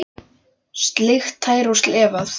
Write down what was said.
Sleikt tær og slefað.